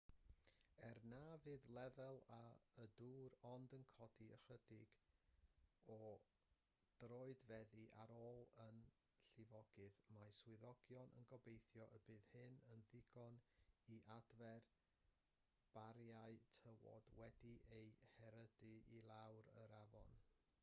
er na fydd lefel y dŵr ond yn codi ychydig o droedfeddi ar ôl y llifogydd mae swyddogion yn gobeithio y bydd hyn yn ddigon i adfer bariau tywod wedi'u herydu i lawr yr afon